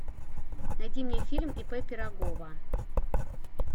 найди мне фильм ип пирогова